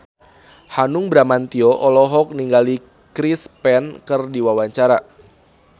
Hanung Bramantyo olohok ningali Chris Pane keur diwawancara